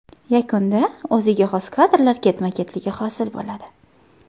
Yakunda o‘ziga xos kadrlar ketma-ketligi hosil bo‘ladi.